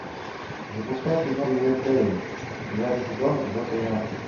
запускай кино ривердейл девятый сезон эпизод тринадцать